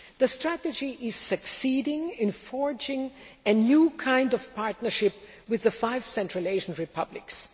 The strategy is succeeding in forging a new kind of partnership with the five Central Asian republics.